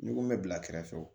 N'i ko n bɛ bila kɛrɛfɛ